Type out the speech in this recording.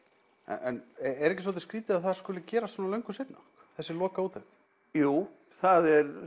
en er ekki svolítið skrýtið að það skuli gerast svona löngu seinna þessi lokaúttekt jú það er